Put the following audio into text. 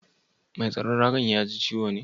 Mai tsaron raga'n ya ji ciwo ne?